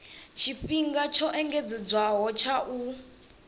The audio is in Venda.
tshifhinga tsho engedzedzwaho tsha u